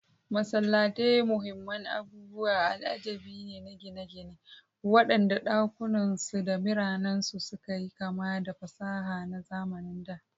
Masallatai muhimman abubuwan al'ajabi ne na gine-ginen waɗanda ɗakunansu da minarensu suka yi kama da fasaha na zamanin da.